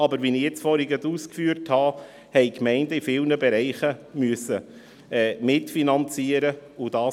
Aber, wie ich gerade ausgeführt habe, haben die Gemeinden in vielen Bereichen mitfinanzieren müssen.